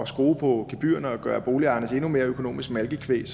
skrue på gebyrerne og gøre boligejerne endnu mere til økonomisk malkekvæg